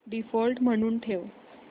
default म्हणून ठेव